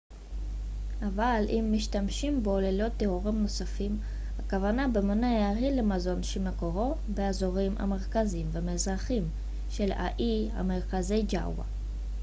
אבל אם משתמשים בו ללא תיאורים נוספים הכוונה במונח היא למזון שמקורו באזורים המרכזיים והמזרחיים של האי המרכזי ג'אווה